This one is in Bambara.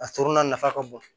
A surunna nafa ka bon